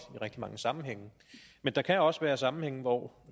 i rigtig mange sammenhænge men der kan også være sammenhænge hvor